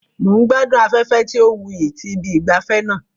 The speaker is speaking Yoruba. Mo n gbadun afẹfẹ ti o wuyi ti ibi ìgbafé naa